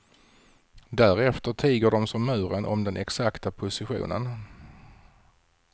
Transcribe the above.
Därefter tiger de som muren om den exakta positionen.